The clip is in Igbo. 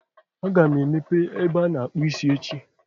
Aga m emepe ebe ana-akpụ isi echi.